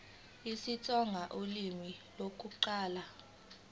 isitsonga ulimi lokuqala